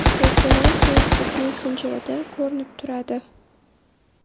Bu so‘rov Facebook messenjerida ko‘rinib turadi.